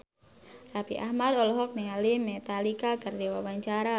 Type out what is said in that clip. Raffi Ahmad olohok ningali Metallica keur diwawancara